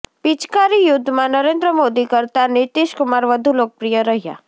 પિચકારી યુદ્ધમાં નરેન્દ્ર મોદી કરતા નીતિશ કુમાર વધુ લોકપ્રિય રહ્યા